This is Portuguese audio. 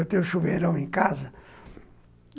Eu tenho um chuveirão em casa.